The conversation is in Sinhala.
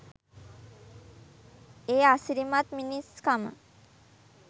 ඒ අසිරිමත් මිනිස්කම